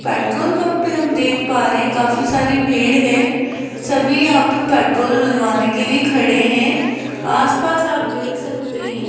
Petrol pump पे हम देख पा रहे हैं काफी सारी भीड़ है सभी यहां पे पेट्रोल डलवाने के लिए खड़े हैं आस-पास आप देख सकते हैं।